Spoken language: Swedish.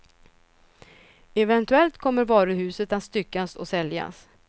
Eventuellt kommer varuhuset att styckas och säljas.